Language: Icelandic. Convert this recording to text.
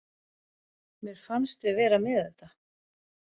Mér fannst við vera með þetta.